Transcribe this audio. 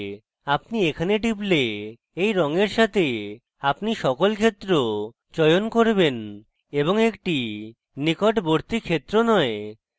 আপনি এখানে টিপলে এই রঙের সাথে আপনি সকল ক্ষেত্র চয়ন করবেন এবং একটি নিকটবর্তী ক্ষেত্র নয়